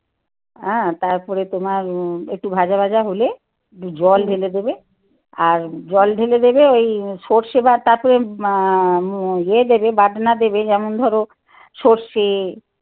হ্যাঁ তারপরে তোমার একটু ভাজা ভাজা হলে একটু জল ঢেলে দেবে আর আর জল ঢেলে দেবে ওই সর্ষে বা তারপরে ইয়ে দেবে বাটনা দেবে যেমন ধরো সরষে